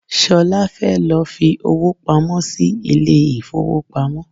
Solá fẹ́ lọ fi owó pamó sì ilé ifowopamo.